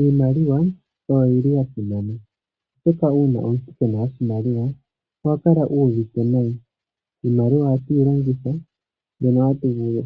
Iimaliwa oyo yi li ya simana, oshoka uuna omuntu kee na oshimaliwa oha kala uuvite nayi. Iimaliwa ohatu yi longitha mbyono